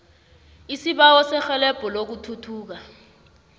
isibawo serhelebho lokuthutha